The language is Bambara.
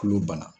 Kulo bana